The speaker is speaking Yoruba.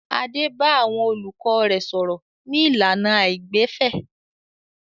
Adé bá àwọn olùkọ́ rẹ̀ sọ̀rọ̀ ní ìlànà àìgbẹ̀fẹ̀.